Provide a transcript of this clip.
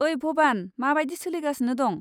ओइ भबान, माबायदि सोलिगासिनो दं?